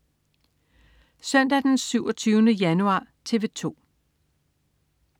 Søndag den 27. januar - TV 2: